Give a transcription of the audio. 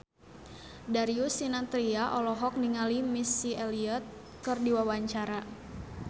Darius Sinathrya olohok ningali Missy Elliott keur diwawancara